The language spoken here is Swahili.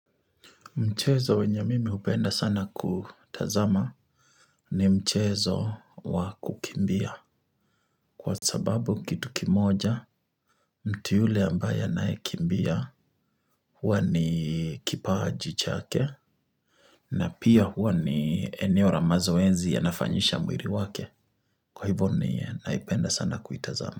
Mchezo wenye mimi hupenda sana kutazama ni mchezo wa kukimbia kwa sababu kitu kimoja mtu yule ambaye anayekimbia huwa ni kipaji chake na pia huwa ni eneo la mazoezi yanafanyisha mwili wake kwa hivo ni naipenda sana kuitazama.